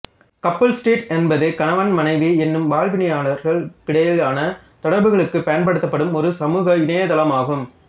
couple street என்பது கணவன் மனைவி எனும் வாழ்விணையர்களுக்கிடையிலான தொடர்புகளுக்குப் பயன்படுத்தப்படும் ஒரு சமூக இணையதளமாகும்